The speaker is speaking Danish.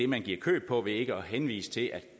man giver køb på ved ikke at henvise til at